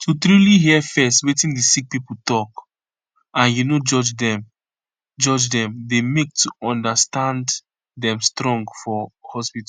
to truly hear fezz wetin di sick pipo talk and u no judge dem judge dem dey make to understand dem strong for hospitol